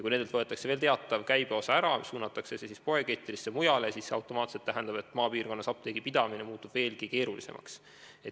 Kui nendelt võetakse ära teatav käibeosa, mis suunatakse poekettidesse ja mujale, siis tähendab see automaatselt seda, et maapiirkonnas muutub apteegi pidamine veelgi keerulisemaks.